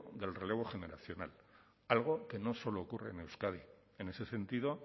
del relevo generacional algo que no solo ocurre en euskadi en ese sentido